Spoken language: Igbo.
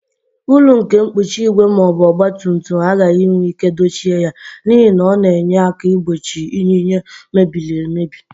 Uru nke mkpuchi igwe ma ọ bụ ọgba tum tum agaghị enwe ike dochie ya, n'ihi na ọ na-enyere aka igbochi yinye mebiri emebi.